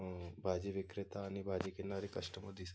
म भाजी विक्रेता आणि भाजी घेणारे कस्टमर दिस --